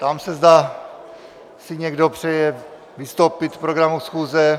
Ptám se, zda si někdo přeje vystoupit k programu schůze?